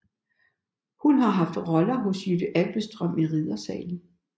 Hun har haft roller hos Jytte Abildstrøm i Riddersalen